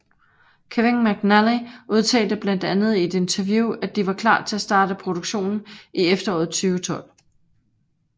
Kevin McNally udtalte blandt andet i et interview at de var klar til at starte produktionen i efteråret 2012